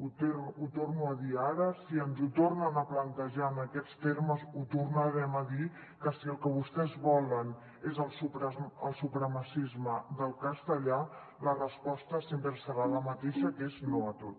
ho torno a dir ara si ens ho tornen a plantejar en aquests termes ho tornarem a dir que si el que vostès volen és el supremacisme del castellà la resposta sempre serà la mateixa que és no a tot